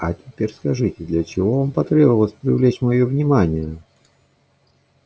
а теперь скажите для чего вам потребовалось привлечь моё внимание